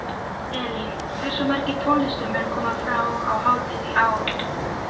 Elín, hversu margir tónlistarmenn koma fram á hátíðinni í ár?